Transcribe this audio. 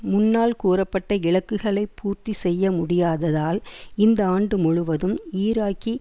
முன்னால் கூறப்பட்ட இலக்குகளை பூர்த்தி செய்ய முடியாததால் இந்த ஆண்டு முழுவதும் ஈராக்கி